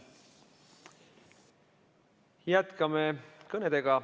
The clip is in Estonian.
Jätkame kõnedega.